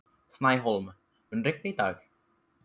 Snæhólm, mun rigna í dag?